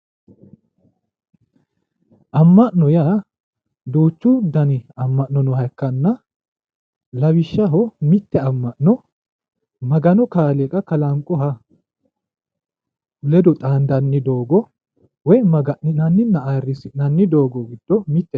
amma'no yaa duuchu dani amma'no nooha ikkanna lawishshaho mitte amma'no magano kaaliiqa kalanqoha ledo xaandanni doogo woyi maga'ninaninna ayiirisi'nanni doogo giddo mittete.